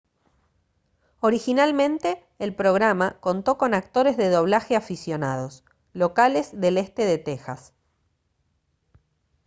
originalmente el programa contó con actores de doblaje aficionados locales del este de tejas